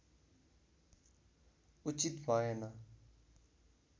उचित भएन